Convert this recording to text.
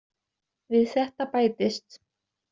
Við þetta bætist.